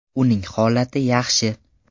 Uning holati yaxshi.